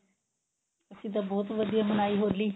ਅਸੀਂ ਤਾਂ ਬਹੁਤ ਵਧੀਆ ਮਨਾਈ ਹੋਲੀ